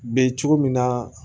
Be cogo min na